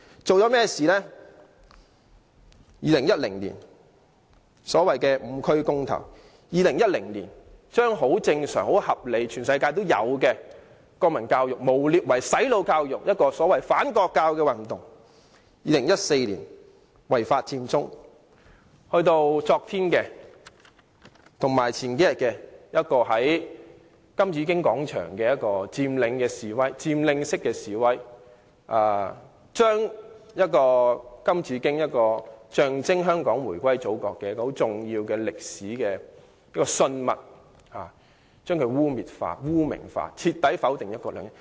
在2010年，進行所謂"五區公投"；在2010年，把正常、合理、全世界都有的國民教育誣衊為"洗腦"教育，進行所謂反國教運動；在2014年，違法佔中；在數天前以至昨天，在金紫荊廣場進行佔領式示威，把象徵香港回歸祖國的重要歷史信物金紫荊雕塑污衊化、污名化，徹底否定"一國兩制"。